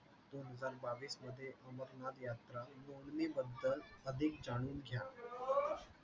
दोनहजार बावीसमध्ये अमरनाथ यात्रा नोंदणीबद्दल अधिक जाणून घ्या.